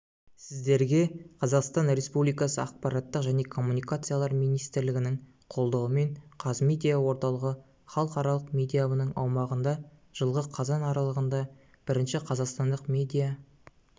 сіздерге қазақстан республикасы ақпарат және коммуникациялар министрлігінің қолдауымен қазмедиа орталығы іалықаралық медиа-іабының аумағында жылғы қазан аралығында бірінші қазақстандық медиа